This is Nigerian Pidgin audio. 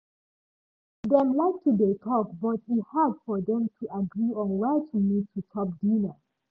dem like to dey talk but e hard for dem to agree on where to meet to chop dinner